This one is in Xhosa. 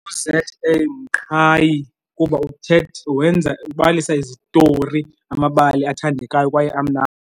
U-Z_ A Mqhayi, kuba wenza ubalisa izitori amabali abathandekayo kwaye amnandi.